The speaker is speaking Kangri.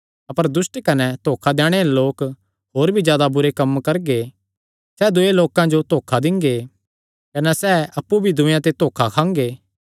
अपर दुष्ट कने धोखा दैणे आल़े लोक होर भी जादा बुरे कम्म करगे सैह़ दूये लोकां जो धोखा दिंगे कने सैह़ अप्पु भी दूयेयां ते धोखा खांगे